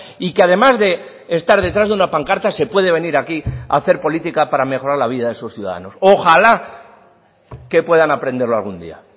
y que además de estar detrás de una pancarta se puede venir aquí a hacer política para mejorar la vida de esos ciudadanos ojala que puedan aprenderlo algún día